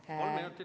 Palun!